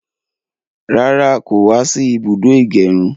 Rárá, kò wá sí ibùdó ìgẹrun.